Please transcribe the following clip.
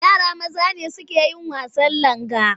Yara maza ne suke yin wasan langa.